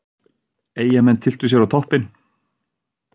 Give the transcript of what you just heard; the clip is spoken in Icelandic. Eyjamenn tylltu sér á toppinn